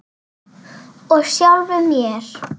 Og sjálfum mér.